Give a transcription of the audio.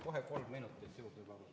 Head kolleegid!